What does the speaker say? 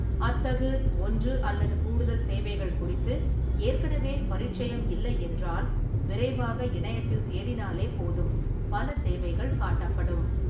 அத்தகு ஒன்று அல்லது கூடுதல் சேவைகள் குறித்து ஏற்கனவே பரீட்சயம் இல்லை என்றால், விரைவாக இணையத்தில் தேடினாலே போதும், பல சேவைகள் காட்டப்படும்.